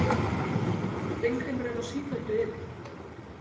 Steingrímur er á sífelldu iði.